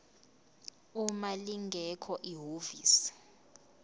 uma lingekho ihhovisi